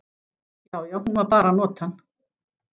Já, já, hún var bara að nota hann.